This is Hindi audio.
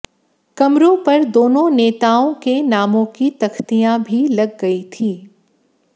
कमरों पर दोनों नेताओं के नामों की तख्तियाँ भी लग गई थीं